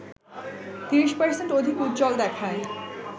৩০% অধিক উজ্জ্বল দেখায়